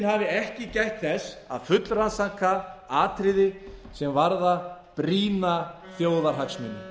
hafi ekki gætt þess að fullrannsaka atriði sem varðar brýna þjóðarhagsmuni